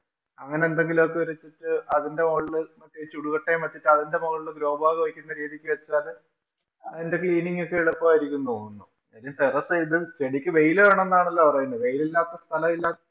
അങ്ങനെയെന്തെങ്കിലും ഒക്കെ അതിന്‍റെ മോളില് ചുടുക്കട്ടയും വച്ചിട്ട് അതിന്‍റെ മൊകളില്‍ grow bag വയ്ക്കുന്ന രീതിക്ക് വച്ചാല് അതിന്‍റെ cleaning ഒക്കെ എളുപ്പാരിക്കും എന്ന് തോന്നുന്നു. കാര്യം terrace ഇത് ചെടിക്ക് വെയില് വേണമെന്നാണല്ലോ പറയുന്നത്. വെയിലില്ലാത്ത സ്ഥലം ഇല്ലാ~